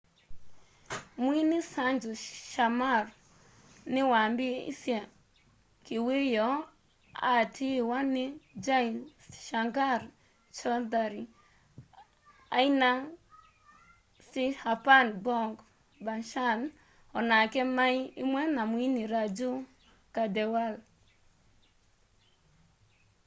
mwini sanju sharma ni waambiisye kiwiyoo aatiiwa ni jai shankar choudhary aina 'cchhapan bhog bhajan o nake mai imwe na mwini raju khandelwal